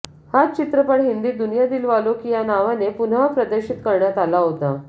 हाच चित्रपट हिंदीत दुनिया दिलवालोंकी ह्या नावाने पुनःप्रदर्शित करण्यात आला होता